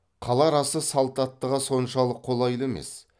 қала арасы салт аттыға соншалық қолайлы емес